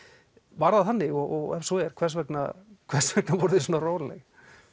var það þannig og ef svo er hvers vegna hvers vegna voruð þið svona róleg